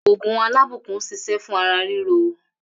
Ògùn 'Alábùkún' ń s̩is̩é̩ fún ara ríro